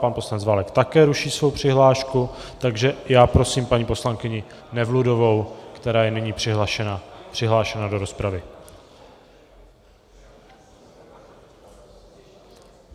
Pan poslanec Válek také ruší svou přihlášku, takže já prosím paní poslankyni Nevludovou, která je nyní přihlášena do rozpravy.